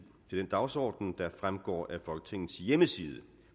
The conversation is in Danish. den dagsorden der fremgår af folketingets hjemmeside